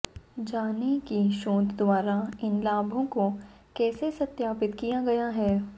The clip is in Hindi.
जानें कि शोध द्वारा इन लाभों को कैसे सत्यापित किया गया है